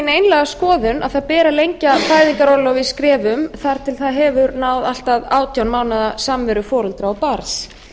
einlæga skoðun að lengja beri fæðingarorlofið í skrefum þar til það hefur náð allt að átján mánaða samveru foreldra og barns